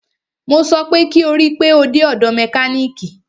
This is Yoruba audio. Mo sọ pé kí o rí pe o dé ọ̀dọ̀ mẹkánìkì!